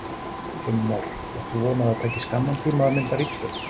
Heimir Már: Átt þú von á því að það taki skamman tíma að mynda ríkisstjórn?